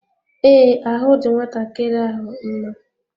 Ee, ahụ dị nwatakịrị ahụ mma.